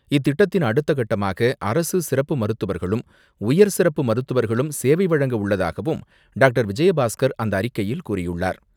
இத்திட்டத்தின் அடுத்தகட்டமாக அரசு சிறப்பு மருத்துவர்களும், உயர் சிறப்பு மருத்துவர்களும் சேவை வழங்க உள்ளதாகவும் டாக்டர் விஜயபாஸ்கர் அந்த அறிக்கையில் கூறியுள்ளார்.